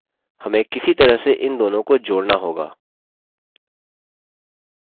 हमें किसी तरह से इन दोनों को जोड़ना होगा